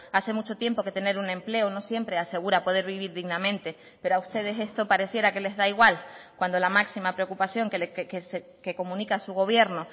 hace mucho tiempo que tener un empleo no siempre asegura poder vivir dignamente pero a ustedes esto pareciera que les da igual cuando la máxima preocupación que comunica su gobierno